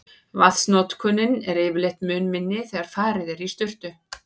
Vatnsnotkunin er yfirleitt mun minni þegar farið er í sturtu.